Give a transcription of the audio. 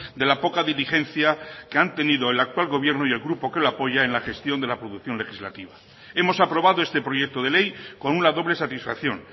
de la poca diligencia que han tenido el actual gobierno y el grupo que lo apoya en la gestión de la producción legislativa hemos aprobado este proyecto de ley con una doble satisfacción